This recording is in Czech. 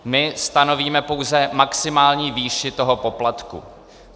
My stanovíme pouze maximální výši toho poplatku.